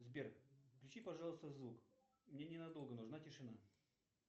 сбер отключи пожалуйста звук мне ненадолго нужна тишина